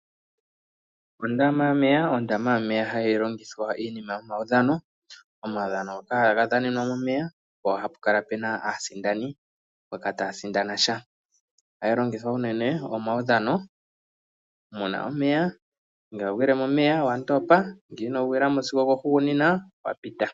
Ondama yomeya. Ondama yomeya hayi longithwa iinima yomaudhano, omaudhano ngoka haga dhanenwa momeya, po hapu kala pu na aasindani mboka taa sindana sha. Ohayi longithwa unene omaudhano mu na omeya. Ngele wagwile momeya owa ndopa, ngee ino gwila mo sigo okohugunina, owa pita.